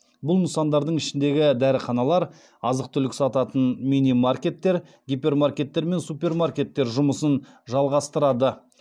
бұл нысандардың ішіндегі дәріханалар азық түлік сататын мини маркеттер гипермаркеттер мен супермаркеттер жұмысын жалғастырады